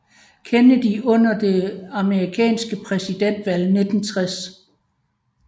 Kennedy under det amerikanske præsidentvalg i 1960